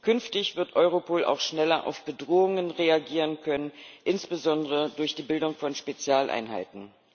Künftig wird Europol auch schneller auf Bedrohungen reagieren können, insbesondere durch die Bildung von Spezialeinheiten.